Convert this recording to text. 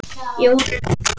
Jórunn Edda.